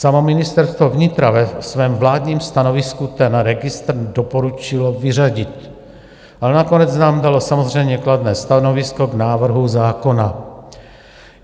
Samo Ministerstvo vnitra ve svém vládním stanovisku ten registr doporučilo vyřadit, ale nakonec nám dalo samozřejmě kladné stanovisko k návrhu zákona.